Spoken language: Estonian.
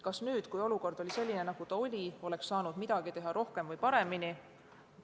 Kas nüüd, kui olukord oli selline, nagu ta oli, oleks saanud teha midagi rohkemat või paremini?